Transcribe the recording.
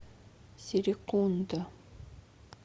серекунда